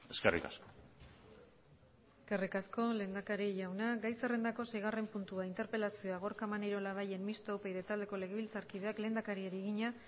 eskerrik asko eskerrik asko lehendakari jauna gai zerrendako seigarren puntua interpelazioa gorka maneiro labayen mistoa upyd taldeko legebiltzarkideak lehendakariari egina